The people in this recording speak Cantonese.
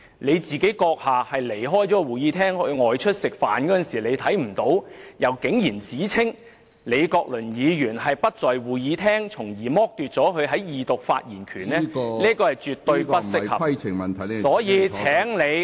主席閣下離開會議廳外出吃飯看不到李議員，卻指他不在會議廳，從而剝奪他在二讀的發言權，這是絕對不適合......所以，請你......